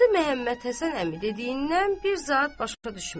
Atı Məhəmməd Həsən əmi dediyindən bir zat başa düşmədi.